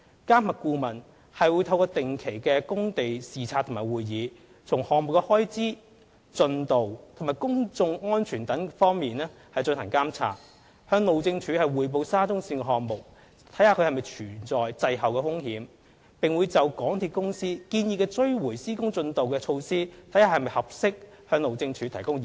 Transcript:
監核顧問會透過定期工地視察及會議，從項目開支、進度及公眾安全等方面進行監察，向路政署匯報沙中線項目是否存在滯後的風險，並會就港鐵公司建議的追回施工進度措施是否合適，向路政署提供意見。